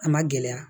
A ma gɛlɛya